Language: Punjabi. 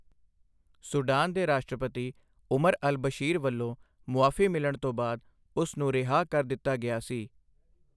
ਸੂਡਾਨ ਦੇ ਰਾਸ਼ਟਰਪਤੀ ਉਮਰ ਅਲ ਬਸ਼ੀਰ ਵੱਲੋਂ ਮੁਆਫ਼ੀ ਮਿਲਣ ਤੋਂ ਬਾਅਦ ਉਸ ਨੂੰ ਰਿਹਾਅ ਕਰ ਦਿੱਤਾ ਗਿਆ ਸੀ।